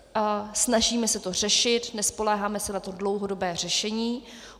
Snažíme se to řešit, nespoléháme se na to dlouhodobé řešení.